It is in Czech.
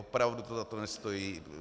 Opravdu to za to nestojí.